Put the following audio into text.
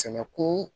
Sɛnɛko